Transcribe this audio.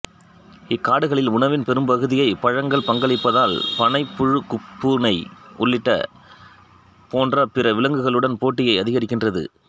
இக்காடுகளில் உணவின் பெரும்பகுதியைப் பழங்கள் பங்களிப்பதால் பனை புனுகுப்பூனை உள்ளிட்ட போன்ற பிற விலங்குகளுடன் போட்டியை அதிகரிக்கின்றது